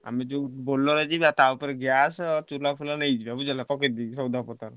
ମେ ଯୋଉ ବୋଲର ରେ ଯିବା ଟା ଉପରେ ଗ୍ଯାସ ଚୁଲା ଫୁଲ ନେଇଯିବା ।